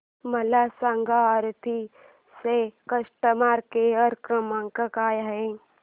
मला सांगा ओप्पो चा कस्टमर केअर क्रमांक काय आहे